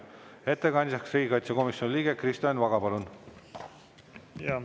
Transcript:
Ettekandjaks riigikaitsekomisjoni liige Kristo Enn Vaga, palun!